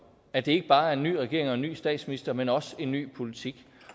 at det ikke bare er en ny regering og en ny statsminister men også en ny politik